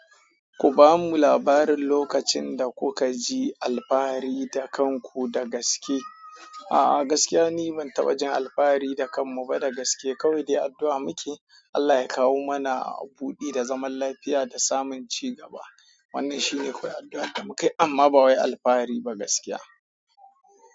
Ku bamu labarin lokacin da kuka ji alfahari da kanku da gaske. A'a, gaskiya ni ban taɓa jin alfahari da kanmu ba da gaske. Kawai dai addu'a muke, Allah ya kawo mana buɗi da zaman lafiya da samun cigaba. Wannan shine kawai addu'ar da mukai amma ba wai alfahari ba gaskiya.